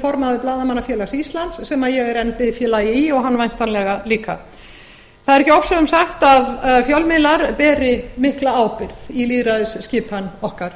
formaður blaðamannafélags íslands sem ég er enn biðfélagi í og hann væntanlega líka það er ekki ofsögum sagt að fjölmiðlar beri mikla ábyrgð í lýðræðisskipan okkar